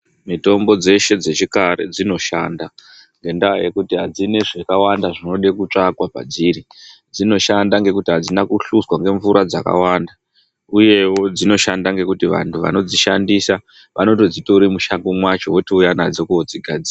Mitombo dzeshe dzechikare dzinoshanda, ngendaa yekuti adzina zvakawanda zvinoda kutsvakwa padziri, dzinoshanda ngekuti adzina kuhluzwa ngemvura dzakawanda. Uyewo dzinoshanda ngendaa yekuti vanthu vanodzishandisa, vanoodzitora mushango mwacho, voouya nadzo koodzigadzira.